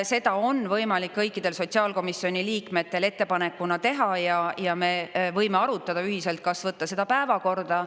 Seda on võimalik kõikidel sotsiaalkomisjoni liikmetele ettepanekuna teha ja me võime arutada ühiselt, kas võtta seda päevakorda.